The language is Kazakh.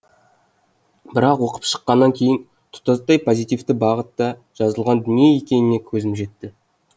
бірақ оқып шыққаннан кейін тұтастай позитивті бағытта жазылған дүние екеніне көзім жетті